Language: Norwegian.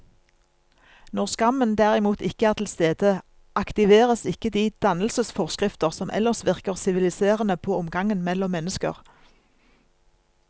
Når skammen derimot ikke er til stede, aktiveres ikke de dannelsesforskrifter som ellers virker siviliserende på omgangen mellom mennesker.